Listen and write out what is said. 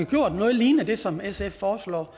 gjort noget lignende som det sf foreslår